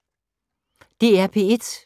DR P1